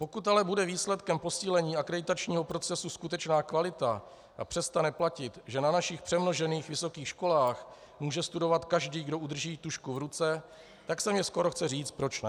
Pokud ale bude výsledkem posílení akreditačního procesu skutečná kvalita a přestane platit, že na našich přemnožených vysokých školách může studovat každý, kdo udrží tužku v ruce, tak se mně skoro chce říct - proč ne?